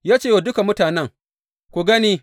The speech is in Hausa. Ya ce wa duka mutanen, Ku gani!